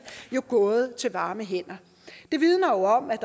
jo gået til varme hænder det vidner jo om at